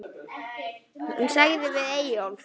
Hún sagði við Eyjólf